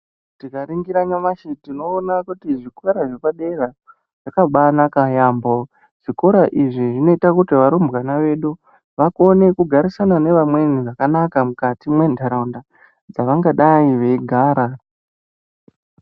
Tika ningira nyamashi tino ona kuti zvikora zvepa dera zvakabai naka yamho zvikora izvi zvino ita kuti varumbwana vakone kugarisana ne vamweni zvakanaka mukati me ndaraunda dzavanga dai vei gara.